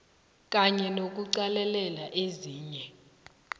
kanye nokuqalelela ezinye